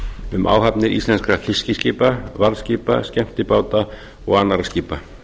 um áhafnir íslenskra fiskiskipa varðskipa skemmtibáta og annarra skipa